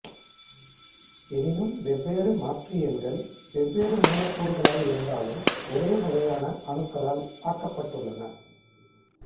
எனினும் வெவ்வேறு மாற்றியன்கள் வெவ்வேறு மூலக்கூறுகளாயிருந்தாலும் ஒரே வகையான அணுக்களால் ஆக்கப்பட்டுள்ளன